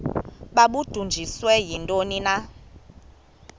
babudunjiswe yintoni na